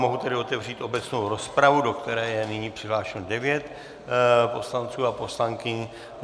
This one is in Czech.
Mohu tedy otevřít obecnou rozpravu, do které je nyní přihlášeno devět poslanců a poslankyň.